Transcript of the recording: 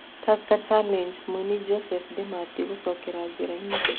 Tusker Challenge: Mũini John Demethew gũcokera njĩra-inĩ.